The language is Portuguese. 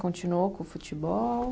Continuou com o futebol?